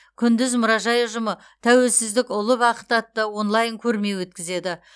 күндіз мұражай ұжымы тәуелсіздік ұлы бақыт атты онлайн көрме өткізеді